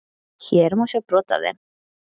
Hér má sjá brot af þeim.